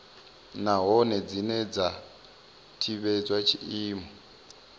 nahone dzine dza tevhedza tshiimo